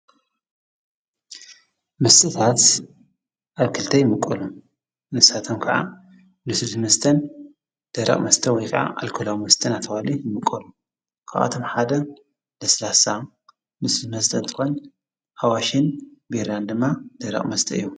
መስተታት ኣብ ክልተይምቀሉ ንሳቶም ከዓ ልስሉስመስተን ደረቅ መስተ ወይከዓ ኣልኮላዊ መስተን እናተብሃሉ ይምቀሉ ካብኣቶም ሓደ ለስላሳ ልስሉስ መስተ እንትኮን ኣዋሽን ቢራን ድማ ደረቕ መስተ እዮም።